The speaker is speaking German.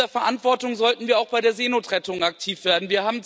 Dieser Verantwortung sollten wir auch bei der Seenotrettung gerecht werden.